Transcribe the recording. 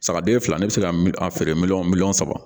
Sagaden fila ne bɛ se ka a feere miliyɔn miliyɔn saba